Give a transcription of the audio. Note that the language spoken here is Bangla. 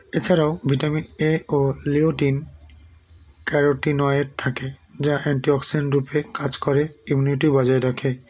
এছাড়াও vitamin a ও leoten carotene oil থাকে যা antioxidant রূপে কাজ করে immunity - ও বজায় রাখে